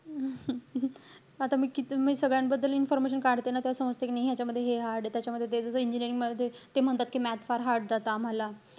आता मी किती मी सगळ्यां बद्दल information काढते ना, तेव्हा समजत कि नाही ह्याचामध्ये हे hard ए, त्याचा मध्ये ते. ते आता जस engineering मध्ये ते म्हणतात कि math फार hard जातं आम्हाला.